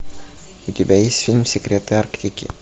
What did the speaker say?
у тебя есть фильм секреты арктики